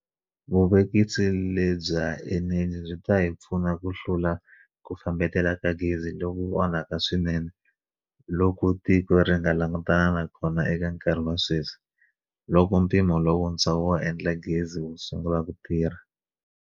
Vuvekisi lebya eneji byi ta hi pfuna ku hlula ku fambetela ka gezi loku onhaka swinene loku tiko ri nga langutana na kona eka nkarhi wa sweswi, loko mpimo lowuntshwa wo endla gezi wu sungula ku tirha.